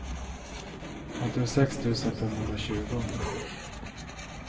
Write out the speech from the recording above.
åttiosex tusen femhundratjugo